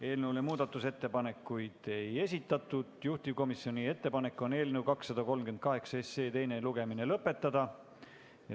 Eelnõu kohta muudatusettepanekuid ei esitatud ja juhtivkomisjoni ettepanek on eelnõu 238 teine lugemine lõpetada.